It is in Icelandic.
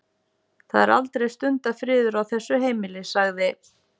Það er aldrei stundarfriður á þessu heimili- sagði